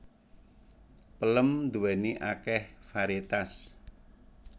Pelem nduwéni akeh variétas